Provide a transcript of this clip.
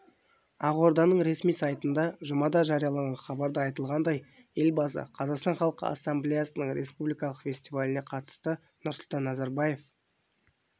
ақорданың ресми сайтында жұмада жарияланған хабарда айтылғандай елбасы қазақстан халқы ассамблеясының республикалық фестиваліне қатысты нұрсұлтан назарбаев